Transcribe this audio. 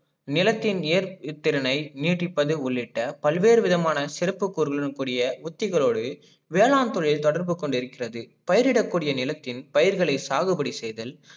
நிலத்தின் ஏற்பு திறனை நீடிப்பது உள்ளிட்ட பல்வேறு விதமான சிறப்பு பொருளுக்குரிய உத்திகளோடு வேளாண் தொழில் தொடர்பு கொண்டிருக்கிறது. பயிரிட கூடிய நிலத்தின் பயிர்களை சாகுபடி செய்தல்